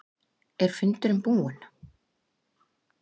Er fundurinn búinn?